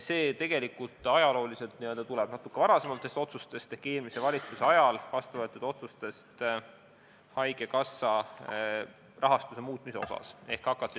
See tuleneb natukene varasematest otsustest ehk eelmise valitsuse ajal vastu võetud otsustest haigekassa rahastuse muutmise kohta.